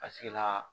A sigila